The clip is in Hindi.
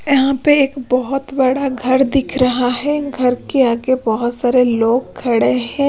यहां पे एक बहुत बड़ा घर दिख रहा है घर के आगे बहुत सारे लोग खड़े हैं।